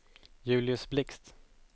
Julius Blixt